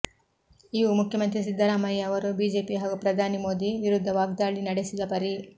ಇವು ಮುಖ್ಯಮಂತ್ರಿ ಸಿದ್ದರಾಮಯ್ಯ ಅವರು ಬಿಜೆಪಿ ಹಾಗೂ ಪ್ರಧಾನಿ ಮೋದಿ ವಿರುದ್ಧ ವಾಗ್ದಾಳಿ ನಡೆಸಿದ ಪರಿ